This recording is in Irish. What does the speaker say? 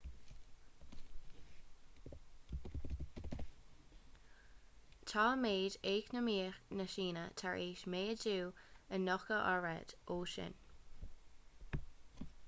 tá méid eacnamaíoch na síne tar éis méadú a 90 oiread ó shin